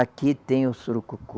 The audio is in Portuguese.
Aqui tem o surucucu.